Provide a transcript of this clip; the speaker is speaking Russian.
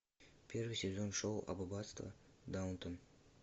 первый сезон шоу аббатство даунтон